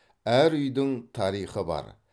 әр үйдің тарихы бар